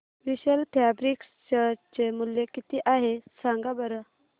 विशाल fabrics share चे मूल्य किती आहे सांगा बरं